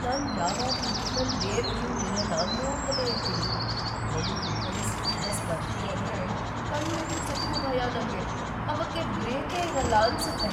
ನಾನ್‌ ಯಾವಾಗ್ಲೂ ನನ್‌ ರಿಯರ್‌ವ್ಯೂ ಮಿರರ್‌ನ ನೋಡ್ತಲೇ ಇರ್ತೀನಿ, ಅದ್ರಲ್ಲೂ ಹಿಂದ್ಗಡೆ ಸಿಟಿ ಬಸ್‌ ಬರ್ತಿದೆ ಅಂದ್ರೆ ಕಣ್ ಮಿಟುಕ್ಸಕ್ಕೂ ಭಯ ನಂಗೆ. ಅವಕ್ಕೆ ಬ್ರೇಕೇ ಇರಲ್ಲ ಅನ್ಸತ್ತೆ.